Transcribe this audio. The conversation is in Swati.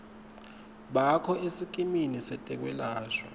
bakho esikimini setekwelashwa